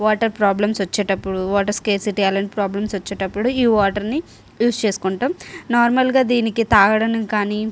water problems వచ్చేటప్పుడు water scarcity అలాంటి వచ్చేటప్పుడు ఈ వాటర్ ని ఉస్ చేసుకుంటాం నార్మల్ గ ఇవి తాగడానికి గాని --